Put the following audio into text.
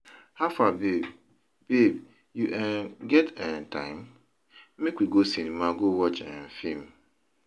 Howfar babe, you um get um time? Make we go cinema go watch um film.